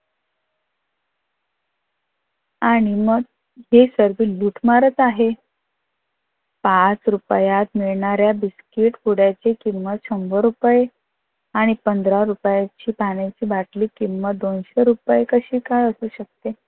आणि मग हे सगळे लुटमारच आहे. पाच रुपयात मिळणाऱ्या बिस्कीट पुद्याची किंमत शंभर रुपये आणि पंधरा रुपयाची पाण्याची वाटली किंमत दोनशे रुपयेची कशी काय असू शकते?